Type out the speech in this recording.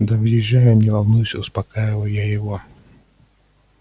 да въезжаю не волнуйся успокаиваю я его